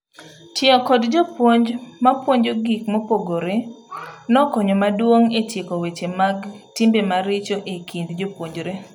Tiyo kod jopuonj mapuonjo gik mopogre nokonyo maduong etieko weche mag timbe maricho ekind jopuonjre.